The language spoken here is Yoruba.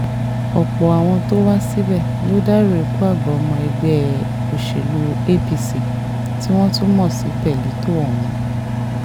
ọ̀pọ̀ àwọn tó wá síbẹ̀ ló dárò ikú àgbà ọmọ ẹgbẹ́ òṣèlú apc tí wọ́n tún mọ̀ sí pearlito ọ̀hún